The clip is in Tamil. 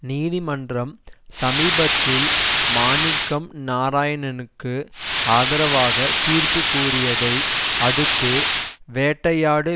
நீதிமன்றம் சமீபத்தில் மாணிக்கம் நாராயணனுக்கு ஆதரவாக தீர்ப்பு கூறியதை அடுத்து வேட்டையாடு